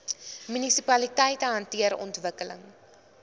munisipaliteite hanteer ontwikkeling